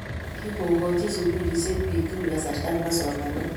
Kikokoch sukulishek bik tugul kasarta nebo somanet